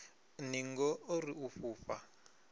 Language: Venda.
ningo o ri u fhufha